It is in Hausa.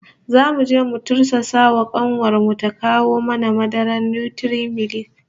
Zamu je mu tursasa wa kanuwar mu ta kawo mana madarar Nutri-milk